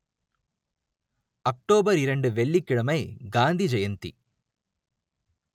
October இரண்டு வெள்ளிக்கிழமை காந்தி ஜெயந்தி